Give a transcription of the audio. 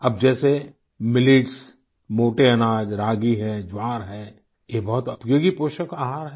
अब जैसे मिलेट्स मोटे अनाज रागी है ज्वार है ये बहुत उपयोगी पोषक आहार हैं